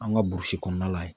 An ka kɔnɔna la yen.